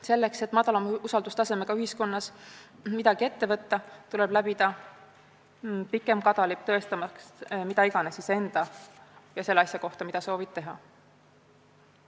Selleks et madala usaldustasemega ühiskonnas midagi ette võtta, tuleb läbida pikem kadalipp, tõestamaks midagi enda ja selle kohta, mida soovitakse teha.